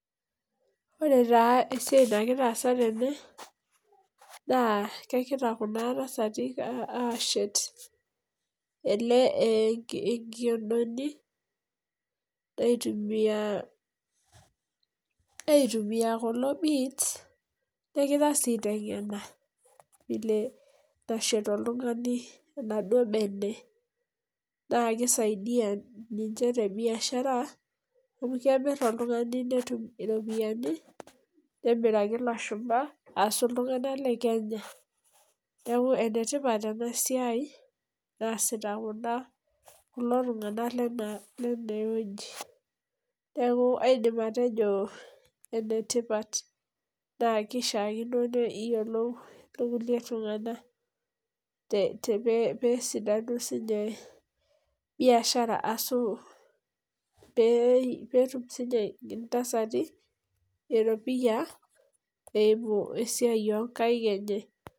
Ore taa esiai nagira aasa tene, naa kegira Kuna tasati aashet, inkiodoni aitumia kulo beads negira sii aitengena vile nashet oltungani enaduoo bene. naa kisaidia ninche te biashara. amu kemir oltungani netum, iropiyiani, nemiraki ilashumba, ashu iltunganak le kenya. neeku ene tipat ena siai naa sita kulo tunganak Lene wueji. neeku kaidim aatejo enetipat naa keishaakino neyiolou sii ninche kulie tunganak pee etum sii nimche intasati eropiyia ,pee epuo esiai oo nkaik enye.